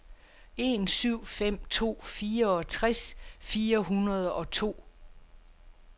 en syv fem to fireogtres fire hundrede og to